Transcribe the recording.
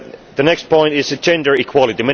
The next point is gender equality.